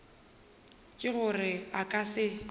ke gore a ka se